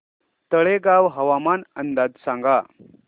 तळेगाव हवामान अंदाज सांगा